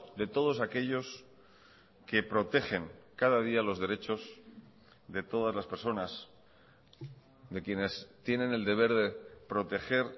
de todos aquellos que protegen cada día los derechos de todas las personas de quienes tienen el deber de proteger